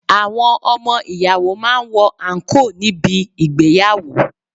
Àwọn ọmọ ìyàwó máa ń wọ àǹkóò ní bi ìgbéyàwó.